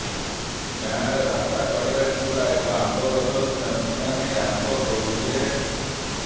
ଗାଁରେ ରାସ୍ତା କଡ଼ରେ ଥିବା ଏକ ଆମ୍ବ ଗଛରୁ ସେମାନେ ଆମ୍ବ ତୋଳୁଥିଲେ